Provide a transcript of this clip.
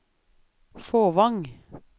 Fåvang